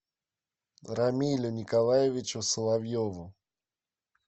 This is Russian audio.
рамилю николаевичу соловьеву